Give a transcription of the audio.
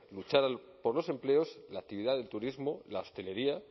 luchar por los empleos la actividad del turismo la hostelería